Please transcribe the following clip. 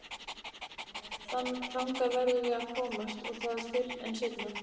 Þangað verðum við að komast og það fyrr en seinna.